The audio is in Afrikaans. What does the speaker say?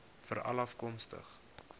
veralafkomstig